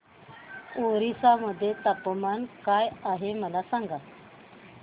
ओरिसा मध्ये तापमान काय आहे मला सांगा